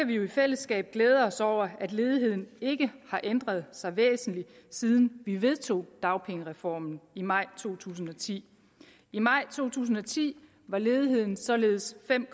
vi jo i fællesskab glæde os over at ledigheden ikke har ændret sig væsentligt siden vi vedtog dagpengereformen i maj to tusind og ti i maj to tusind og ti var ledigheden således fem